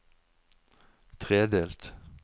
tredelt